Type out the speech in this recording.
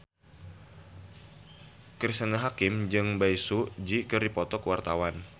Cristine Hakim jeung Bae Su Ji keur dipoto ku wartawan